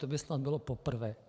To by snad bylo poprvé.